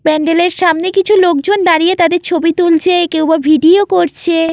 প্যান্ডেল এর সামনে কিছু লোকজন দাঁড়িয়ে তাদের ছবি তুলছে কেউ বা ভিডিও করছে।